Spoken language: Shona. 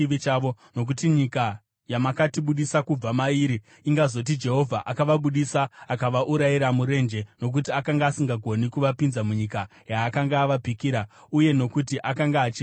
Nokuti nyika yamakatibudisa kubva mairi ingazoti, ‘Jehovha akavabudisa akavaurayira murenje, nokuti akanga asingagoni kuvapinza munyika yaakanga avapikira, uye nokuti akanga achivavenga.’